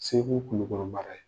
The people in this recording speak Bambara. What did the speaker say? Segu, Kulikoro mara ye.